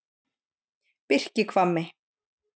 Birkihvammi